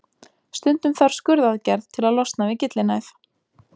Stundum þarf skurðaðgerð til að losna við gyllinæð.